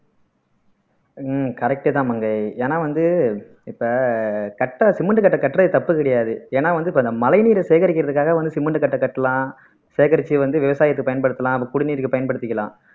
ஆஹ் correct தான் மங்கை ஏன்னா வந்து இப்ப கட்ட சிமெண்ட் கட்ட கட்டறது தப்பு கிடையாது ஏன்னா வந்து இப்ப இந்த மழைநீரை சேகரிக்கிறதுக்காக வந்து சிமெண்ட் கட்டை கட்டலாம் சேகரிச்சு வந்து விவசாயத்தை பயன்படுத்தலாம் அத குடிநீருக்கு பயன்படுத்திக்கலாம்